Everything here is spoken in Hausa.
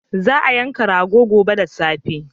Za a yanka rago gobe da safe.